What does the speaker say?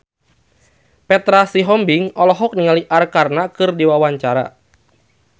Petra Sihombing olohok ningali Arkarna keur diwawancara